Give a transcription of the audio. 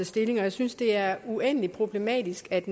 stilling jeg synes det er uendelig problematisk at